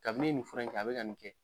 Kabi ne nin fura in ta a bɛ ka nin kɛ